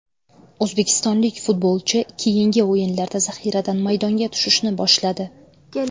O‘zbekistonlik futbolchi keyingi o‘yinlarda zaxiradan maydonga tushishni boshladi.